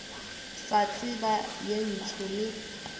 sa tseba ye ntsho le